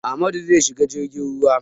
Amadu zai shiga jirgin ruwa.